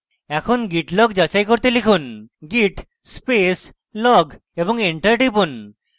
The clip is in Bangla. এখন git log যাচাই করতে লিখুন git space log এবং enter টিপুন